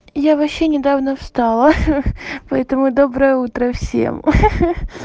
я вообще недавно встала ха-ха поэтому доброе утро всем ха-ха